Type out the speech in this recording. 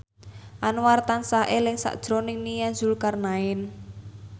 Anwar tansah eling sakjroning Nia Zulkarnaen